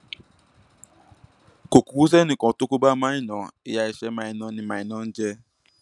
kò kúkú sẹnì kan tó kó bá maina ìyá ẹsẹ maina ni maina ń jẹ